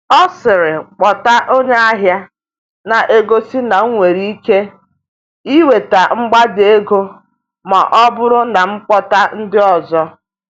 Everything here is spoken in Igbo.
Ọ sịrị, “kpọta onye ahịa,” na-egosi na m nwere ike inweta mgbada ego ma ọ bụrụ na m kpọta ndị ọzọ.